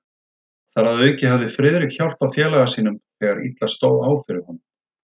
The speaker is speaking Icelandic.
Þar að auki hafði Friðrik hjálpað félaga sínum, þegar illa stóð á fyrir honum.